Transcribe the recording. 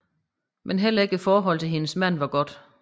Men heller ikke forholdet til hendes mand var godt